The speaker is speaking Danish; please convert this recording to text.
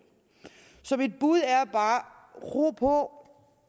mit bud er ro på